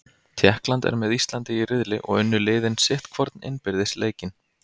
Tékkland er með Íslandi í riðli og unnu liðin sitt hvorn innbyrðis leikinn.